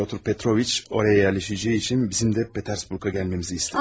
Pyotr Petroviç oraya yerləşəcəyi üçün bizim də Peterburqa gəlməmizi istədi.